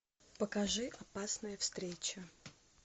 покажи опасная встреча